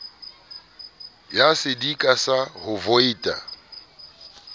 ya sedika sa ho voita